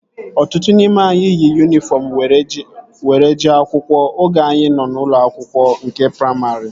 Ọtụtụ n'ime anyị yi yunifọm were jee akwụkwọ oge anyị nọ n'ụlọ akwụkwọ nke praimarị